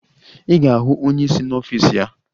Ị ga-ahụ onye isi n'ọfịs ya.